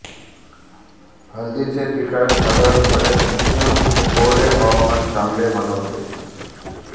हळदीचे पिकास साधारणपणे उष्ण व कोरडे हवामान चांगले मानवते